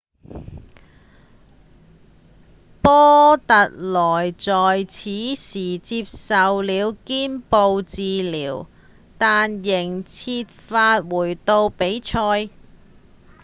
波特羅在此時接受了肩部治療但仍設法回到比賽